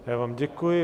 Já vám děkuji.